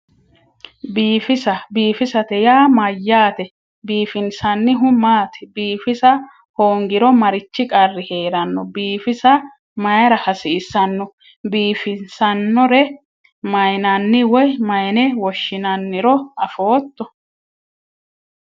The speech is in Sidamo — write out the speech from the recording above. Biifisa biifisate yaa mayyaate biifinsannihu maati biifisa hoongiro marichi qarri heeranno biifisa mayra hasiissanno biifissannore mayinanni woy mayne woshshinanniro afootto